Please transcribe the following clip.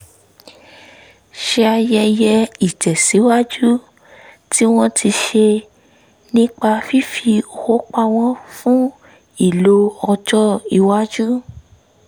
ṣayẹyẹ ìtẹ̀síwájú tí wọ́n ti ṣe nípa fífi owó pamọ́ fún ìlò ọjọ́-iwájú